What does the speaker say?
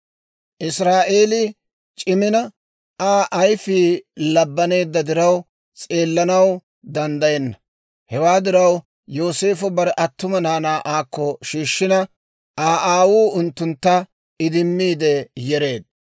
Israa'eelii c'imina Aa ayfii labbaneedda diraw, s'eellanaw danddayenna. Hewaa diraw Yooseefo bare attuma naanaa aakko shiishshina, Aa aawuu unttuntta idimmiide yereedda.